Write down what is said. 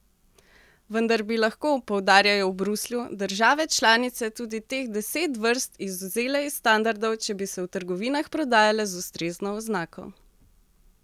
Vendar bi lahko, poudarjajo v Bruslju, države članice tudi teh deset vrst izvzele iz standardov, če bi se v trgovinah prodajale z ustrezno oznako.